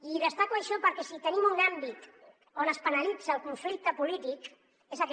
i destaco això perquè si tenim un àmbit on es penalitza el conflicte polític és aquest